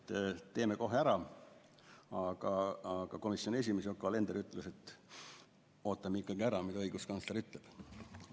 Nüüd leiti, et teeme kohe ära, aga komisjoni esimees Yoko Alender ütles, et ootame ikkagi ära, mida õiguskantsler ütleb.